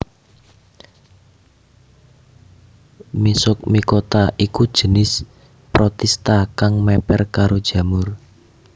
Myxomicota iku jinis protista kang mèper karo jamur